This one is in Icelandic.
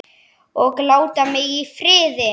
OG LÁTA MIG Í FRIÐI!